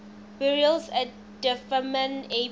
burials at dunfermline abbey